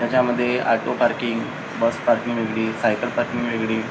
ह्याच्यामध्ये auto parking bus parking वेगळी cycle parking वेगळी--